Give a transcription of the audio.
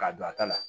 K'a don a ta la